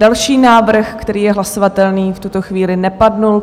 Další návrh, který je hlasovatelný, v tuto chvíli nepadl.